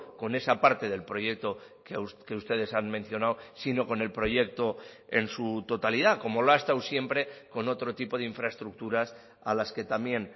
con esa parte del proyecto que ustedes han mencionado sino con el proyecto en su totalidad como lo ha estado siempre con otro tipo de infraestructuras a las que también